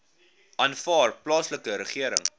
aanvaar plaaslike regering